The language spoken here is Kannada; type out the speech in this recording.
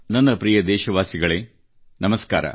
ನನ್ನ ಪ್ರಿಯ ದೇಶವಾಸಿಗಳೇ ನಮಸ್ಕಾರ